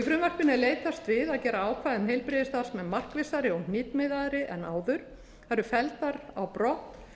í frumvarpinu er leitast við að gera ákvæði um heilbrigðisstarfsmenn markvissari og hnitmiðaðri en áður það eru felldar á brott